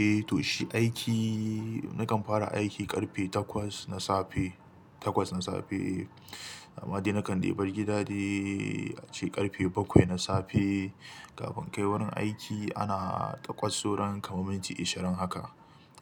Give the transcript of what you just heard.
Eh to shi aiki, nakan fara aiki ƙarfe takwas na safe, takwas na safe. Amma dai nakan dai bar gida de, ace ƙarfe bakwai na safe. Kafin inkai wurin aiki ana takwas sauran kamar minti ishirin haka.